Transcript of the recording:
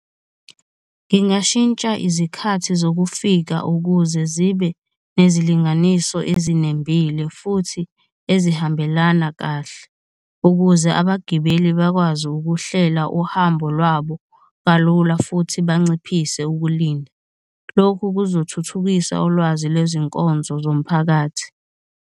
Ngingashintsha izikhathi zokufika ukuze zibe nezilinganiso ezinembile futhi ezihambelana kahle, ukuze abagibeli bakwazi ukuhlela uhambo lwabo kalula futhi banciphise ukulinda. Lokhu kuzothuthukisa ulwazi lwezinkonzo zomphakathi.